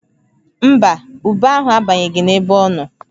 Mba, ube ahụ abanyeghị n'ebe ọ nọ